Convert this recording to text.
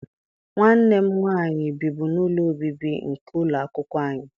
Nwanne m nwaanyị bibu n'ụlọ obibi nke ụlọ akwụkwọ anyị.